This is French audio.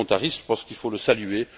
Je pense qu'il faut le saluer.